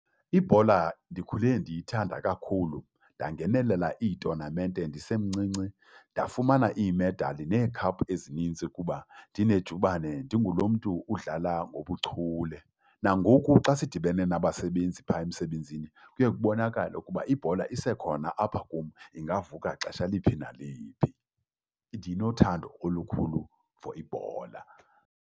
Ibhola ndikhule ndiyithanda kakhulu, ndangenelela iitonamente ndisemncinci, ndafumana iimedali neekhaphu ezinintsi kuba ndinejubane, ndingulo mntu udlala ngobuchule. Nangoku xa sidibene nabasebenzi pha emsebenzini kuye kubonakale ukuba ibhola isekhona apha kum, ingavuka xesha liphi naliphi ndinothando olukhulu for ibhola.